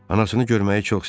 Anasını görməyi çox istəyirdi.